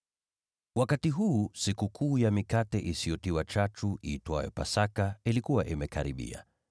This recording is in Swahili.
Wakati huu Sikukuu ya Mikate Isiyotiwa Chachu, iitwayo Pasaka, ilikuwa imekaribia.